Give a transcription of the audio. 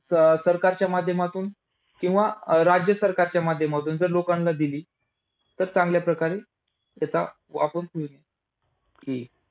सरकारच्या माध्यमातून किंवा अं राज्य सरकारच्या माध्यमातून जर लोकांना दिली, तर चांगल्या प्रकारे त्याचा वापर होईल .